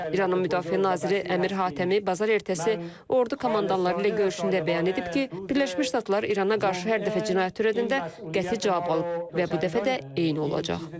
İranın müdafiə naziri Əmir Hatəmi bazar ertəsi ordu komandanları ilə görüşündə bəyan edib ki, Birləşmiş Ştatlar İrana qarşı hər dəfə cinayət törədəndə qəti cavab alıb və bu dəfə də eyni olacaq.